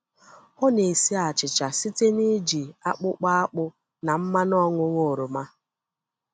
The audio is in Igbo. Ọ na-esi achịcha site n’iji akpụkọ akpụ na mmanụ ọṅụṅụ oroma.